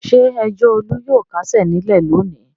Ṣé ẹjọ́ Olú yóò kásẹ̀ nílẹ̀ lónìí?